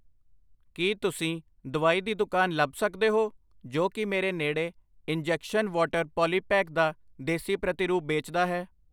ਕਿ ਤੁਸੀਂ ਦਵਾਈ ਦੀ ਦੁਕਾਨ ਲਭ ਸਕਦੇ ਹੋ ਜੋ ਕਿ ਮੇਰੇ ਨੇੜੇ ਇੰਜੈਕਸ਼ਨ ਵਾਟਰ ਪੌਲੀਪੈਕ ਦਾ ਦੇਸੀ ਪ੍ਰਤੀਰੂਪ ਬੇਚਦਾ ਹੈ?